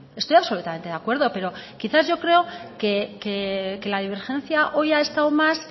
estoy absolutamente de acuerdo pero quizás yo creo que la divergencia hoy ha estado más